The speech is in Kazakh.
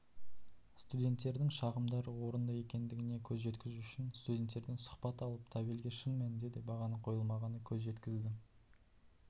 студенттердің шағымдары орынды екендігіне көз жеткізу үшін студенттерден сұхбат алып табельге шын мәнінде де бағаның қойылмағанына көз жеткізді